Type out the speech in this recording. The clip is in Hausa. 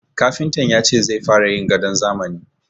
Kafintan ya ce zai fara yin gadon zamani.